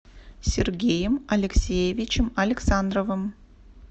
сергеем алексеевичем александровым